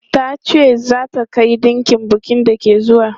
Ta ce za ta kai ɗinkin bukin da ke zuwa.